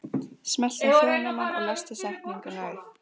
Vitneskjan sitrar smátt og smátt út í verundina.